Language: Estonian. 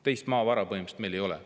Teist maavara meil põhimõtteliselt ei ole.